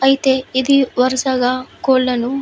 అయితే ఇది వరుసగా కోళ్లను --